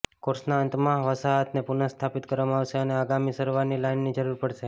કોર્સના અંતમાં વસાહતને પુનઃસ્થાપિત કરવામાં આવશે અને આગામી સારવારની લાઇનની જરૂર પડશે